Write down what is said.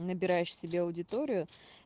набираешь себе аудиторию